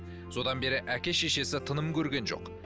содан бері әке шешесі тыным көрген жоқ